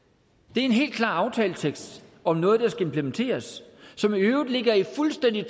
det er en helt klar aftaletekst om noget der skal implementeres og som i øvrigt fuldstændig